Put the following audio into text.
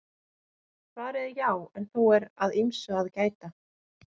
Svarið er já en þó er að ýmsu að gæta.